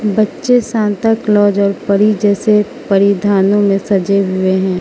बच्चे Santa Claus और परी जैसे परिधानों में सजे हुए हैं।